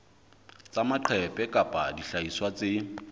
tsa maqephe kapa dihlahiswa tse